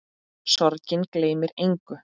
Sorgin gleymir engum.